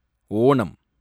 Onam